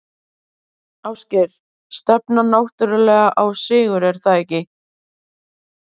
Ásgeir: Stefnan náttúrulega sett á sigur, er það ekki?